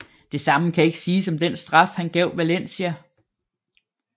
Det samme kan ikke siges om den straf han gav Valencia